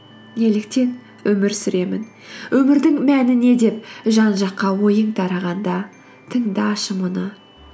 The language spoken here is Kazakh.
неліктен өмір сүремін өмірдің мәні не деп жан жаққа ойың тарағанда тыңдашы мұны